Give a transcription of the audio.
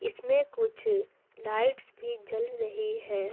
इसमें कुछ लाइट्स भी जल रही है।